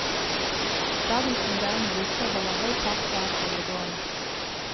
Dagens moderne busser holder høy fart og er stillegående.